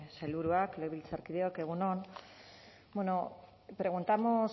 sailburuak legebiltzarkideok egun on preguntamos